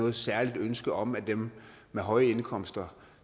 et særligt ønske om at dem med høje indkomster